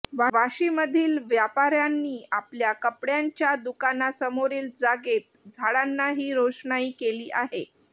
वाशीमधील व्यापार्यांनी आपल्या कपड्यांच्या दुकांनासमोरील जागेत झाडांना ही रोषणाई केली आहे